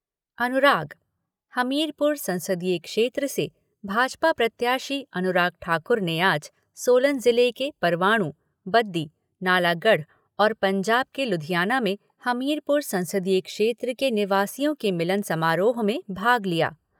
अनुराग हमीरपुर संसदीय क्षेत्र से भाजपा प्रत्याशी अनुराग ठाकुर ने आज सोलन जिले के परवाणू, बद्दी, नालागढ़ और पंजाब के लुधियाना में हमीरपुर संसदीय क्षेत्र के निवासियों के मिलन समारोह में भाग लिया।